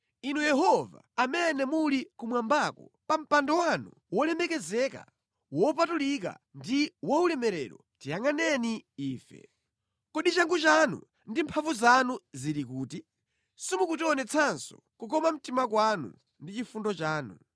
Inu Yehova amene muli kumwambako, pa mpando wanu wolemekezeka, wopatulika ndi waulemerero, tiyangʼaneni ife. Kodi changu chanu ndi mphamvu zanu zili kuti? Simukutionetsanso kukoma mtima kwanu ndi chifundo chanu.